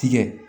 Tigɛ